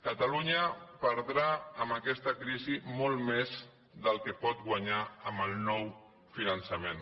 catalunya perdrà amb aquesta crisi molt més del que pot guanyar amb el nou finançament